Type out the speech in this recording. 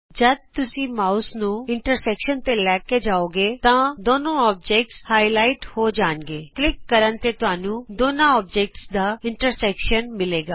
ਜਦ ਤੁਸੀਂ ਮਾਉਸ ਨੂੰ ਇੰਟਰਸੈਕਸ਼ਨ ਤੇ ਲੈ ਜਾਉਗੇ ਤਾਂ ਦੋਨੋ ਔਬਜੈਕਟ ਗੂੜੇ ਹੋ ਕੇ ਉਭਰਨਗੇ ਕਲਿਕ ਕਰਨ ਤੇ ਤੁਹਾਨੂੰ ਦੋਨਾਂ ਚੀਜਾਂ ਦਾ ਇੰਟਰਸੈਕਸ਼ਨ ਹਾਸਲ ਹੋਏਗਾ